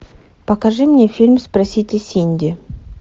покажи мне фильм спросите синди